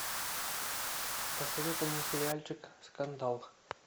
посоветуй мне сериальчик скандал